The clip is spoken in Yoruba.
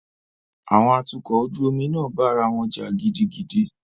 Àwọn atukọ̀ ojú omi náà bá ará wọn jà gidigidi.